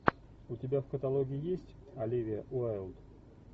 у тебя в каталоге есть оливия уайлд